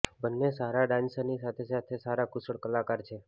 બન્ને સારા ડાન્સરની સાથે સાથે સારા કુશળ કલાકાર છે